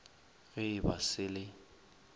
ge e ba se le